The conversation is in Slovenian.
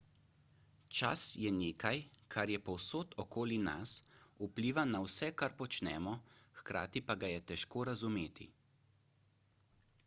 čas je nekaj kar je povsod okoli nas vpliva na vse kar počnemo hkrati pa ga je težko razumeti